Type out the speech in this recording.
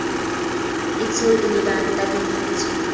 etshweu e lebanta le letsho